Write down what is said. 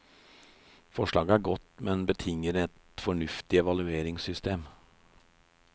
Forslaget er godt, men betinger et fornuftig evalueringssystem.